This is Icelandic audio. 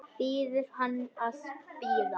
Biður hann að bíða.